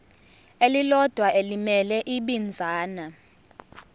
elilodwa elimele ibinzana